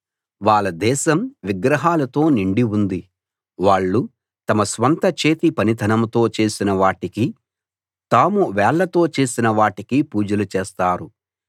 వాళ్ళ దేశం విగ్రహాలతో నిండి ఉంది వాళ్ళు తమ స్వంత చేతి పనితనంతో చేసిన వాటికీ తాము వేళ్ళతో చేసిన వాటికీ పూజలు చేస్తారు